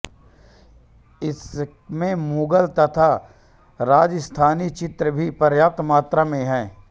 इसमें मुगल तथा राजस्थानी चित्र भी पर्याप्त मात्रा में हैं